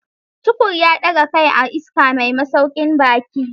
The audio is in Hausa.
Tukur ya daga kai a iska mai masaukin baki.